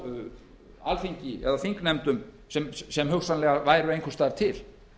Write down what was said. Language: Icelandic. frá alþingi eða þingnefndum sem hugsanlega væru einhvers staðar til